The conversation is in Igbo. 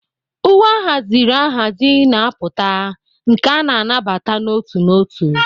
Uwe ahaziri ahazi na-apụta, nke a nabata n'otu n'otu.